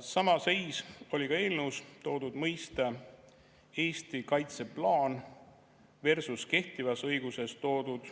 Sama seis oli ka eelnõus toodud mõiste "Eesti kaitseplaan" versus kehtivas õiguses toodud